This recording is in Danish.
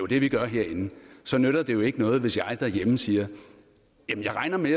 det vi gør herinde så nytter det jo ikke noget hvis jeg derhjemme siger jeg regner med